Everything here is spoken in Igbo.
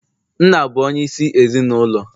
nna bụ onyeisi ezi n' ụlọ